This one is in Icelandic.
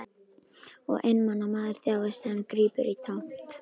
Og einmana maður þjáist þegar hann grípur í tómt.